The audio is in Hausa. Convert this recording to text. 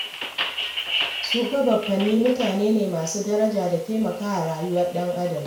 Su fa baffanni mutane ne masu daraja da taimakawa rayuwar ɗan'adam.